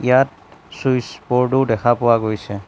ইয়াত চুইচ ব'ৰ্ডো দেখা পোৱা গৈছে।